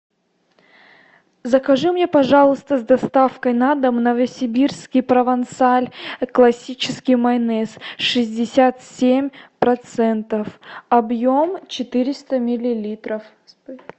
закажи мне пожалуйста с доставкой на дом новосибирский провансаль классический майонез шестьдесят семь процентов объем четыреста миллилитров